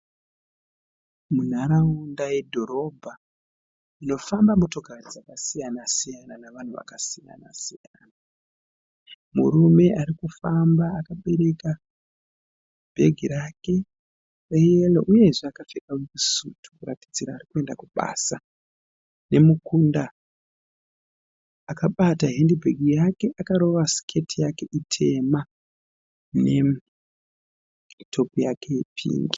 Munharawunda yedhorobha munofamba motokari dzakasiyana siyana navanhu vakasiyana siyana. Murume ari kufamba akabereka bhegi rake reyero uyezve akapfeka sutu kuratidzira kuti ari kuenda kubasa nemukunda akabata hendibhegi yake, akarova siketi yake itema netopu yake yepingi.